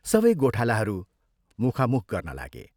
सबै गोठालाहरू मुखामुख गर्न लागे।